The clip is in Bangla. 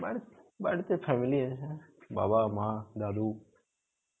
বাড়ি~ বাড়িতে family আছে. বাবা মা দাদু.